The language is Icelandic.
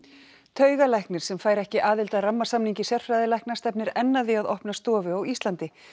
taugalæknir sem fær ekki aðild að rammasamningi sérfræðilækna stefnir enn að því að opna stofu á Íslandi